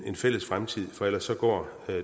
en fælles fremtid for ellers går